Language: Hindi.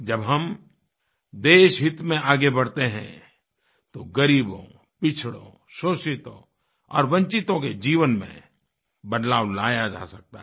जब हम देशहित में आगे बढ़ते हैं तो ग़रीबों पिछड़ों शोषितों और वंचितों के जीवन में बदलाव लाया जा सकता है